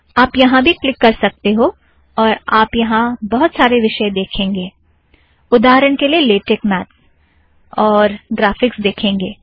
आप यहाँ भी क्लिक कर सकते हो और आप यहाँ बहुत सारे विषय देखेंगे - उदाहरण के लिए लेटेक मैत्स और ग्राफ़िक्स देखेंगे